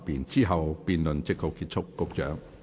之後辯論即告結束。